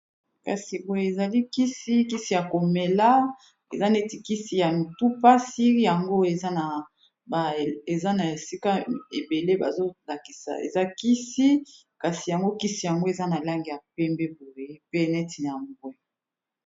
Kasi poye ezali kisi, kisi ya komela eza neti kisi ya mutupasi yango eza na esika ebele bazolakisa eza kisi, kasi yango kisi yango eza na langi ya pembe boye pe neti na mbwe.